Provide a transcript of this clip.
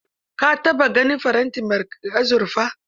Ka taɓa ganin farantin azurfa?